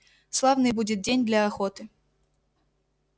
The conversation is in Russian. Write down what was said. славный будет день для охоты